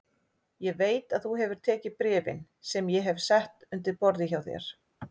Ég veit að þú hefur tekið bréfin sem ég hef sett undir borðið hjá þér